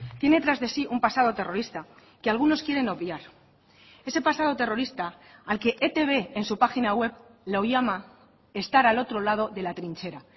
tiene tras de sí un pasado terrorista que algunos quieren obviar ese pasado terrorista al que etb en su página web lo llama estar al otro lado de la trinchera